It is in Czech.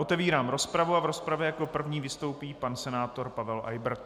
Otevírám rozpravu a v rozpravě jako první vystoupí pan senátor Pavel Eybert.